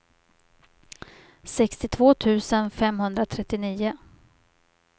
sextiotvå tusen femhundratrettionio